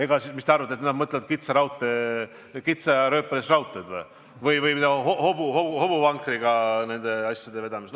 Kas te tõesti arvate, et nad mõtlevad kitsarööpmelise raudtee rajamist või hobuvankriga asjade vedama hakkamist?